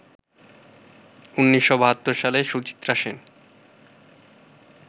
১৯৭২ সালে সুচিত্রা সেন